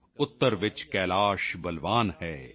ਉੱਤਰ ਚ ਕੈਲਾਸ਼ ਬਲਵਾਨ ਹੈ